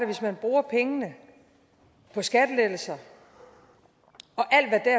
hvis man bruger pengene på skattelettelser